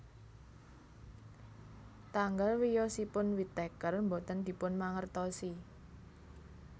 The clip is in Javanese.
Tanggal wiyosipun Whittaker boten dipunmangertosi